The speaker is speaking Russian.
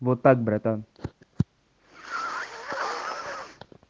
вот так братан